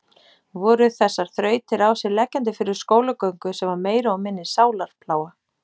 Voru þessar þrautir á sig leggjandi fyrir skólagöngu sem var meiri og minni sálarplága?